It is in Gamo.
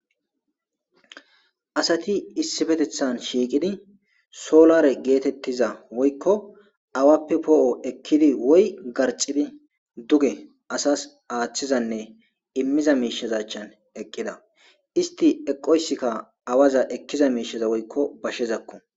Asati issipetethan shiiqidi solare geetetiza woykko awappe poo'o ekkidi woy garxxidi duge asas aathizanne immiza miisheza achchan eqqida. Istti eqqoysika awaza ekkiza miisheza woykko bashezako